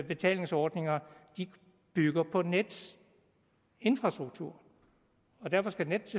betalingsordninger bygger på nets infrastruktur og derfor skal nets